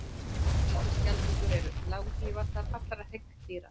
Risaskjaldbökur eru langlífastar allra hryggdýra.